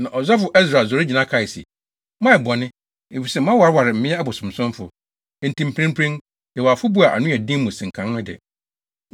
Na ɔsɔfo Ɛsra sɔre gyina kae se, “Moayɛ bɔne, efisɛ moawareware mmea abosonsomfo. Enti mprempren, yɛwɔ afɔbu a ano yɛ den mu sen kan de no.